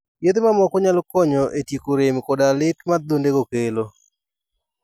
Yedhe mamoko nyalo konyo e tieko rem koda lit ma adhondego kelo.